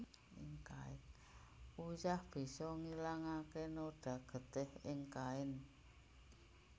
Uyah bisa ngilangaké noda getih ing kain